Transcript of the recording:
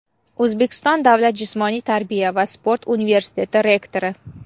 O‘zbekiston davlat jismoniy tarbiya va sport universiteti rektori.